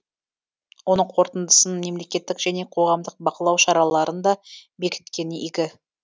оның қорытындысын мемлекеттік және қоғамдық бақылау шараларын да бекіткені игі